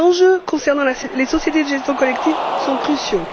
enjeux concernant les sociétés de gestion collective sont cruciaux.